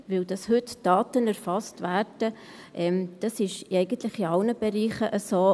Denn dass heute Daten erfasst werden, ist eigentlich in allen Bereichen so.